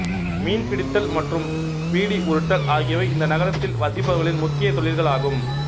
மீன்பிடித்தல் மற்றும் பீடி உருட்டல் ஆகியவை இந்த நகரத்தில் வசிப்பவர்களின் முக்கிய தொழில்கள் ஆகும்